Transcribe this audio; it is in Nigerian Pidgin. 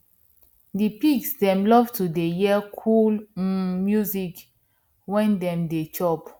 di pigs dem love to dey hear cool um music when dem dey chop